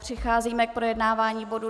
Přicházíme k projednávání bodu